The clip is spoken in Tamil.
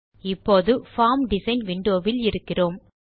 இப்போது பார்ம் டிசைன் விண்டோ வில் இருக்கிறோம்